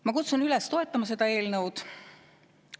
Ma kutsun üles seda eelnõu toetama.